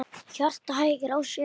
Hjartað hægir á sér.